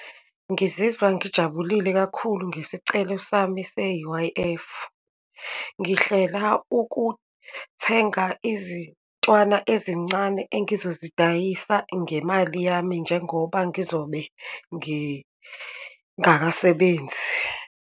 Ngizizwa ngijabulile kakhulu ngesicelo sami se-U_I_F. Ngihlela ukuthenga izintwana ezincane engizozidayisa ngemali yami, njengoba ngizobe ngingakasebenzi.